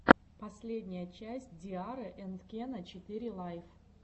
последняя часть ди арры энд кена четыре лайф